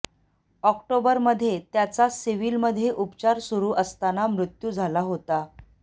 ऑक्टोबरमध्ये त्याचा सिव्हीलमध्ये उपचार सुरू असताना मृत्यू झाला होता